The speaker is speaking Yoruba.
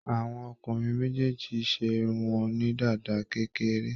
Àwọn ọkùnrin méjèèjì ṣe irun wọn ní dàda kékeré.